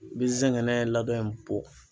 Bi zɛngɛnɛ ladɔn in bɔ.